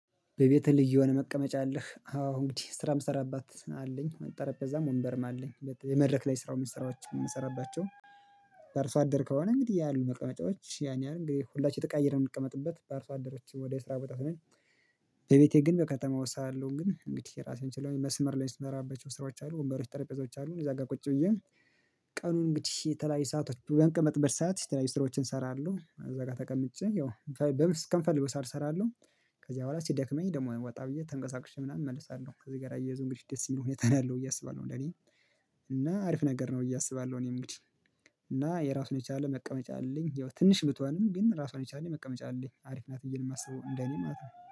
በቤትህ ልዩ የሆነ መቀመጫ አለህ? አዎ እንግዲህ ስራ ምሰራባት አለኝ ጠረጴዛም ወንበርም አለኝ የመድረክ ላይ ስራ የምሰራቸው የምሰራባቸው። በአርሶ አደር ከሆነ እንግዲህ ያሉ መቀመጫዎች ያንያህል እንግዲህ ሁላችን እየተቀያየርን የምንቀመጥበት በአርሶ አደሮች ወደ ስራ ቦታ ሆነን። በቤቴ ግን በከተማ ሳለሁ ግን እንግዲህ ራሴን ችለውኝ መስመር ላይ ምሰራባቸው ስራዎች አሉ ወንበሮች ጠረጴዛዎች አሉ። እዛ ጋር ቁጭ ብዬ ቀኑን እንግዲህ የተለያዩ ሰአቶች በምቀመጥበት ሰዓት የተለያዩ ስራዎችን እሰራለሁ። እዛ ጋር ተቀምጬ ያው እስከምፈልገው ሰዓት እሰራለሁ። ከዚያ በኋላ ሲደክመኝ ደግሞ ወጣ ብዬ ተንቀሳቅሼ ምናምን እመለሳለሁ። ከዚህ ጋር አያይዞ እንግዲህ ደስ የሚለው ሁኔታ ነው ያለው ብዬ አስባለሁ እንደኔ እና አሪፍ ነገር ነው ብዬ አስባለሁ። እኔ እንግዲህ እና የራሱን የቻለ መቀመጫ አለኝ ያው ትንሽ ብቶንም ግን ራሷን የቻለች መቀመጫ አለኝ አሪፍ ናት ብዬ ነው የማስበው እንደኔ ማለት ነው